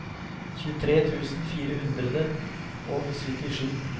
tjuetre tusen fire hundre og syttisju